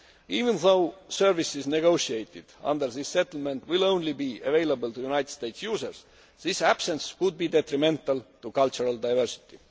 of it. Even though services negotiated under this settlement will only be available to United States users, this absence could be detrimental to cultural diversity.